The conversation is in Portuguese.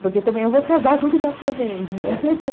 Porque também eu vou casar com o japonês, né?